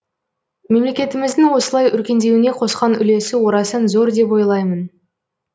мемлекетіміздің осылай өркендеуіне қосқан үлесі орасан зор деп ойлаймын